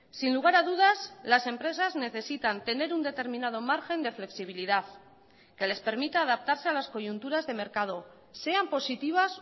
sin lugar a dudas las empresas necesitan tener un determinado margen de flexibilidad que les permita adaptarse a las coyunturas de mercado sean positivas